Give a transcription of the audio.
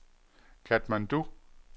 Katmandu